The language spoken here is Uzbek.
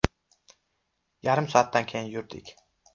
Yarim soatdan keyin yurdik.